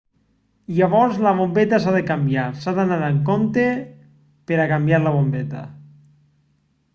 llavors la bombeta s'ha de canviar s'ha d'anar amb compte per a canviar la bombeta